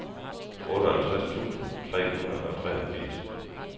otteoghalvtreds tusind tre hundrede og treogfirs